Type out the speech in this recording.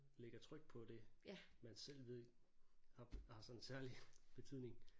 Lægger tryk på det man selv ved har har sådan særlig betydning